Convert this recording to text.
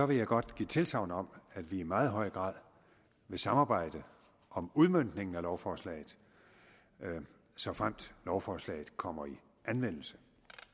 vil jeg godt give tilsagn om at vi i meget høj grad vil samarbejde om udmøntningen af lovforslaget såfremt lovforslaget kommer i anvendelse